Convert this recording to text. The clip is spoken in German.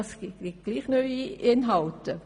Das gibt doch neue Inhalte.